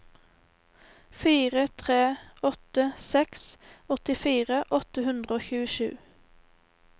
fire tre åtte seks åttifire åtte hundre og tjuesju